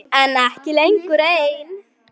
En ekki lengur ein.